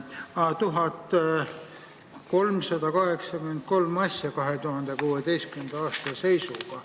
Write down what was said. Aa, leidsin: 1383 asja 2016. aasta seisuga.